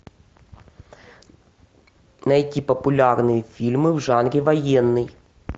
найти популярные фильмы в жанре военный